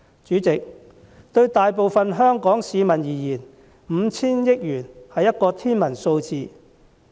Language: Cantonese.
主席，對大部分香港市民而言 ，5,000 億元是天文數字。